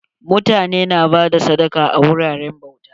Mutane na bada sadaka a wuraren bauta.